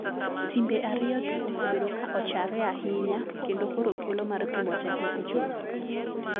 Timbe ariyo gi osebedo ka ochare ahinya kendo koro thuolo mar pimo teko ochopo.